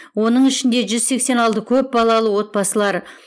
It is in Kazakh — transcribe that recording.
оның ішінде жүз сексен алты көпбалалы отбасылар